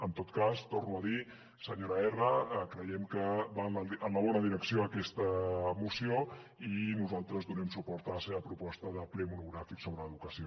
en tot cas ho torno a dir senyora erra creiem que va en la bona direcció aquesta moció i nosaltres donem suport a la seva proposta de ple monogràfic sobre educació